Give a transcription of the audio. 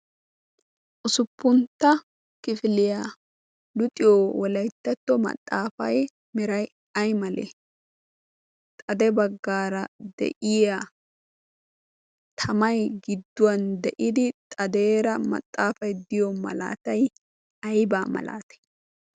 usuppuntta kifiliyaa luxiyo wolayttatto maxaafai mirai ai malee xade baggaara de'iya tamai gidduwan de'idi xadeera maxaafay diyo malaatay aybaa malaati?